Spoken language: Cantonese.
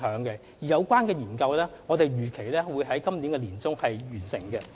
有關檢討預計會在今年年中完成。